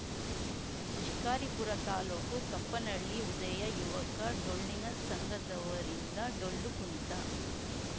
ಶಿಕಾರಿಪುರ ತಾಲೂಕು ಕಪ್ಪನಹಳ್ಳಿ ಉದಯ ಯುವಕ ಡೊಳ್ಳಿನ ಸಂಘದವರಿಂದ ಡೊಳ್ಳು ಕುಣಿತ